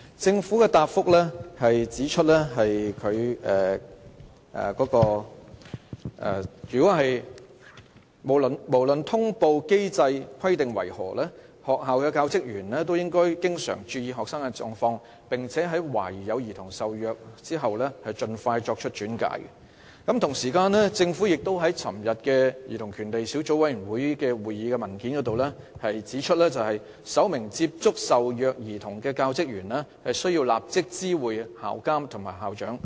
政府在主體答覆中指出，"無論通報機制的規定為何，學校教職員也應經常注意學生的狀況，並在懷疑有兒童受虐後盡快作出轉介"。與此同時，在政府就昨天舉行的兒童權利小組委員會會議提交的文件中指出，"首名接觸受虐兒童的教職員須立即知會校監/校長"。